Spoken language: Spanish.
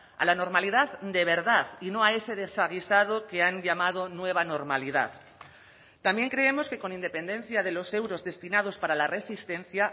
a la normalidad de verdad y no a ese desaguisado que han llamado nueva normalidad también creemos que con independencia de los euros destinados para la resistencia